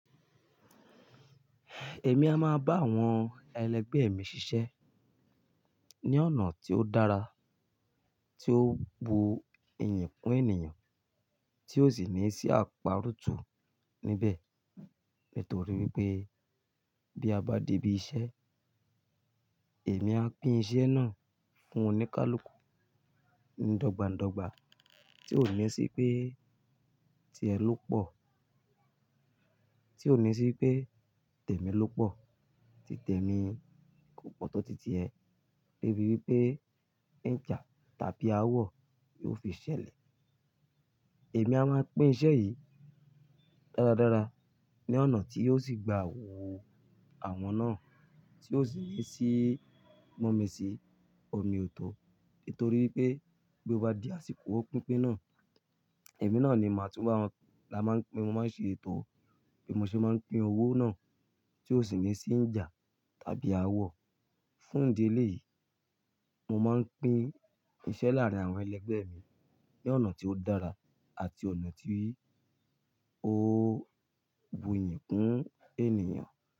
Èmi a máa bá àwọn ẹlẹgbẹ́ mi ṣiṣẹ́ ní ọ̀nà tí ó dára, tí ó bu iyì fún ènìyàn, tí ó sì ní í sí àparòtó níbẹ̀. Nítorí pé bí a bá di ibi iṣẹ́, èmi á pín iṣẹ́ náà fún oníkálukú dọ́gba dọ́gba tí ó ní sí pé, ti ẹ ló pọ̀, tí ó ní sí pé tèmi ló pọ̀, ti tèmi kò pọ̀ tó titi ẹ. Débi wípé ìjà tàbí aáwọ̀ yi ó fi ṣẹlẹ̀. Èmi a máa pín iṣẹ́ yìí dára dára ní ọ̀nà tí yóò sì gba owó àwọn náà tí yóò sì mú mi sí omi ọ̀tọ̀. Nítorí pé bí ó bá di àsìkò pínpín náà, èmi náà ni màá túbọ̀ la máa pín. Mo máa ń ṣe ètò bí mo ṣe máa ń pín owó náà tí ó sì ní sì ijà tàbí aáwọ̀. Fún ìdí elẹ́ yìí, mo máa ń pín iṣẹ́ láàárín àwọn ẹlẹgbẹ́ mi ní ọ̀nà tí ó dára àti ọ̀nà tí ó bu iyì fún ènìyàn.